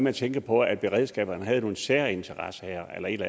at tænke på at beredskaberne havde nogle særinteresser eller et